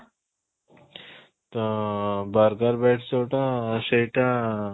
ତ burger bites ଯୋଉଟା ସେଇଟା